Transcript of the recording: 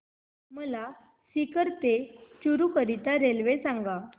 मला सीकर ते चुरु करीता रेल्वे सांगा